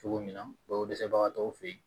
Cogo min na balo dɛsɛbagatɔw fe ye